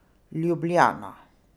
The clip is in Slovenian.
Ljubljana.